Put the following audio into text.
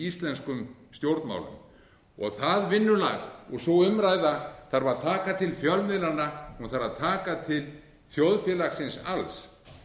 íslenskum stjórnmálum það vinnulag og sú umræða þarf að taka til fjölmiðlanna hún þarf að taka til þjóðfélagsins alls